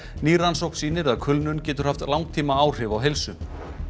ný rannsókn sýnir að kulnun getur haft langtímaáhrif á heilsu